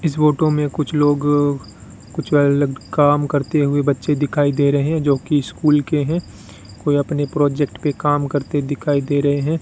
इस फोटो में कुछ लोग कुछ अलग काम करते हुए बच्चे दिखाई दे रहे हैं जो कि स्कूल के हैं कोई अपने प्रोजेक्ट पे काम करते दिखाई दे रहे हैं।